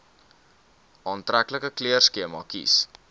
aantreklike kleurskema kies